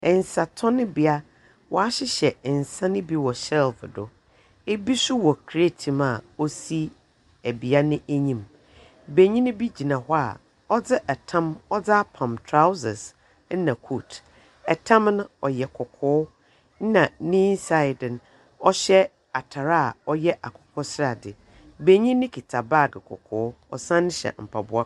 Nsatɔnbea, wɔahyehyɛ nsa no bi wɔ shelve do. Ebi nso wɔ crate mu a ɔsi bea no anim. Benyin bi gyina hɔ a ɔdze tam ɔdze apam trousers na coat. Tam no ɔyɛ kɔkɔɔ, na ne inside no ɔhyɛ atar a ɔyɛ akokɔ srade. Benyin no kita baage kɔkɔɔ, ɔsan hyɛ mpaboa.